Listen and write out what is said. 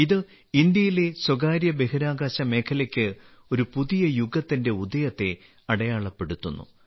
ഇത് ഇന്ത്യയിലെ സ്വകാര്യ ബഹിരാകാശ മേഖലയ്ക്ക് ഒരു പുതിയ യുഗത്തിന്റെ ഉദയത്തെ അടയാളപ്പെടുത്തുന്നു